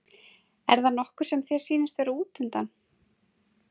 er það nokkur sem þér sýnist vera útundan?